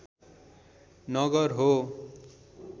नगर हो